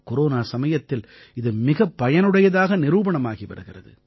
corona சமயத்தில் இது மிகப் பயனுடையதாக நிரூபணமாகி வருகிறது